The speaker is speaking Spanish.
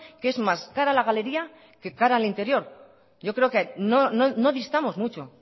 que es más cara a la galería que cara al interior yo creo que no distamos mucho